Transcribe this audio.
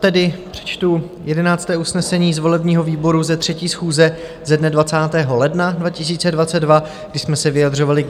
Tedy čtu 11. usnesení z volebního výboru ze 3. schůze ze dne 20. ledna 2022, kdy jsme se vyjadřovali k